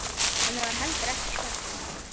Henni var heldur ekki skemmt.